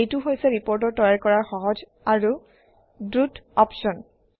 এইটো হৈছে ৰিপৰ্ট তৈয়াৰ কৰাৰ সহজ আৰু দ্ৰুত অপশ্যন